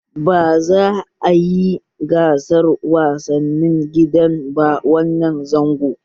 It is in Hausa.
Ba za a yi gasar wasannin gida ba wannan zangon